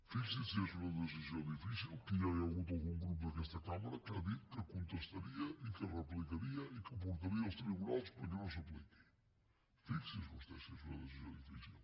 fixi’s si és una decisió difícil que ja hi ha hagut algun grup d’aquesta cambra que ha dit que contestaria i que replicaria i que ho portaria als tribunals perquè no s’apliqui fixi’s vostè si és una decisió difícil